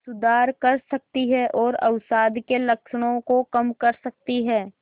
सुधार कर सकती है और अवसाद के लक्षणों को कम कर सकती है